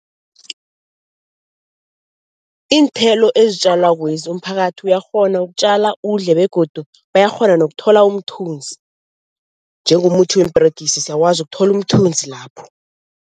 Iinthelo ezitjalwakwezi umphakathi uyakghona ukutjala udle begodu bayakghona nokuthola umthunzi, njengomuthi weemperegisi siyawazi uthola umthunzi lapho.